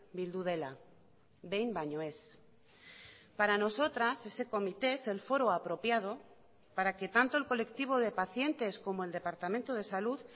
bildu dela behin baino ez para nosotras ese comité es el foro apropiado para que tanto el colectivo de pacientes como el departamento de salud